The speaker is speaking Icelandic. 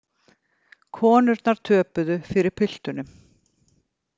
Konurnar töpuðu fyrir piltunum